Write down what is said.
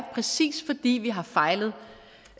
præcis fordi vi har fejlet